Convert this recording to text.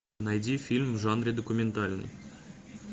найди фильм в жанре документальный